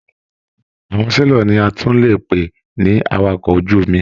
Àwọn selọ̀ ní a tún lè pè ní àwàkọ̀ ojú omi.